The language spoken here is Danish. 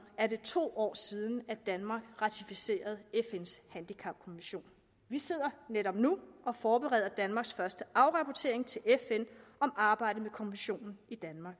er det to år siden at danmark ratificerede fns handicapkonvention vi sidder netop nu og forbereder danmarks første afrapportering til fn om arbejdet med konventionen i danmark